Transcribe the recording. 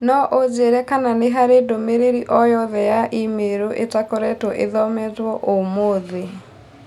no ũnjĩĩre kana nĩ harĩ ndũmĩrĩri o yothe ya i-mīrū ĩtakoretwo ithometo ũmũthĩ